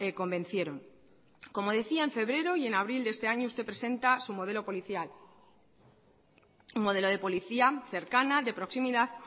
convencieron como decía en febrero y en abril de este año usted presenta su modelo policial un modelo de policía cercana de proximidad